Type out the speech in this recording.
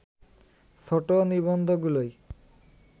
ছোট নিবন্ধগুলোই